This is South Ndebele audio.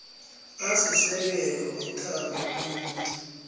asisekelo wethando omunye